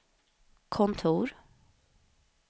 kontor